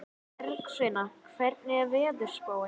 Bergsveina, hvernig er veðurspáin?